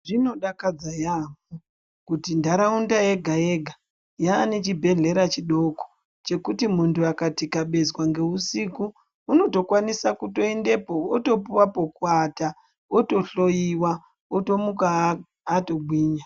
Zvinodakadza yaamho kuti ntaraunda yega yega yaane chibhedhlera chidoko chekuti muntu akatikabezwa ngeusiku unotokwanisa kuendapo otopuwa pekuata otohloiwa otomuka atogwinya.